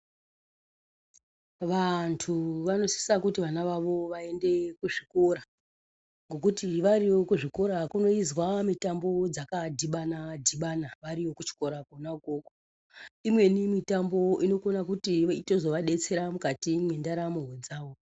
Vanthu vanosisa kuti vana vavo vaende kuzvikora nekuti variyo kuzvikora kunoizwa mitambo dzakadhibana-dhibana variyo kuchikoro kona ikwokwo. Imweni mitambo inokona kutozovadetsera mukati mwendaramo dzavo.